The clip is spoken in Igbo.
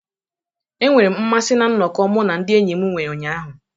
Enwere m mmasị na nnọkọ mụ na ndị enyi m nwere ụnyaahụ.